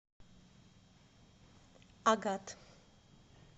агат